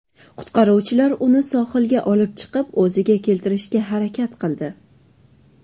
Qutqaruvchilar uni sohilga olib chiqib, o‘ziga keltirishga harakat qildi.